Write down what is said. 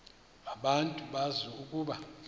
abantu bazi ukuba